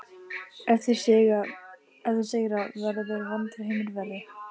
Ef þeir sigra verður vondur heimur verri